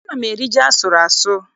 Ana m eri ji asụrụ asụ.